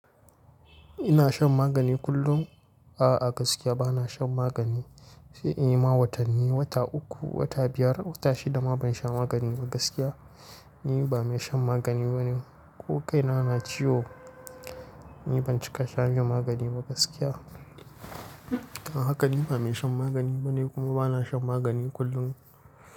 Ina shan magani kullum. A'a, gaskiya ba na shan magani. Sai in yi ma watanni, wata uku, wata biyar, wata shida ma ban sha magani ba gaskiya. Ni ba mai shan magani bane. Ko kai na na ciwo, ni ban cika shanye magani ba gaskiya. Haka ni ba mai shan magani bane kuma ba na shan magani kullum.